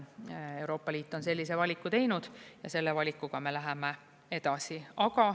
Euroopa Liit on sellise valiku teinud ja selle valikuga me läheme edasi.